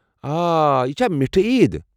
آہ! یہِ چھِ میٖٹھی عید ۔